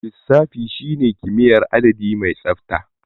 Lissafi shine kimiyyar adadi mai tsabta.